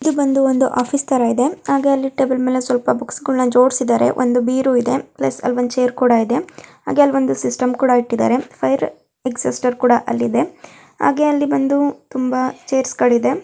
ಇದು ಬಂದು ಒಂದು ಆಫೀಸ್ ತರ ಇದೆ ಹಾಗೆ ಅಲ್ಲಿ ಟೇಬಲ್ ಮೇಲೆ ಸ್ವಲ್ಪ ಬುಕ್ಸ್ಗಳ್ನ ಜೋಡ್ಸಿದಾರೆ ಒಂದು ಬೀರು ಇದೆ ಪ್ಲಸ್ ಅಲ್ಲಿ ಒಂದು ಚೇರ್ ಕೂಡ ಇದೆ ಹಾಗೆ ಅಲ್ಲಿ ಒಂದು ಸಿಸ್ಟಮ್ ಕೂಡ ಇಟ್ಟಿದ್ದಾರೆ ಫೈರ್ ಎಕ್ಷಿಸ್ಟರ್ ಕೂಡ ಅಲ್ಲಿ ಇದೆ ಹಾಗೆ ಅಲ್ಲಿ ಬಂದು ತುಂಬಾ ಚೇರ್ಸ್ಗಳಿದೆ --